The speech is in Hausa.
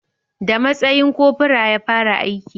Da matsayin cofora ya fara aiki